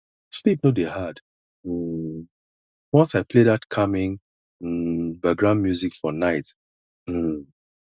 sleep no dey hard um once i play that calming um background music for night um